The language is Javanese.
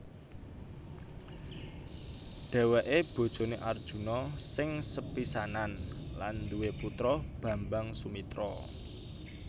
Dheweke bojone Arjuna sing sepisanan lan nduwe putra Bambang Sumitra